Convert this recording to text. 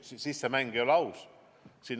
Siis ei oleks mäng aus.